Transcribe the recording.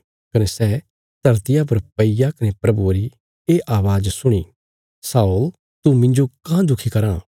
कने सै धरतिया पर पईग्या कने प्रभुये री ये अवाज़ सुणी शाऊल तू मिन्जो काँह दखी कराँ